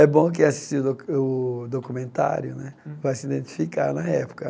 É bom quem assistir o docu o documentário né vai se identificar na época.